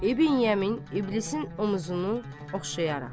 İbn Yemin iblisin omzunu oxşayaraq.